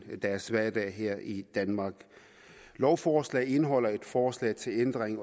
til deres hverdag her i danmark lovforslaget indeholder et forslag til ændring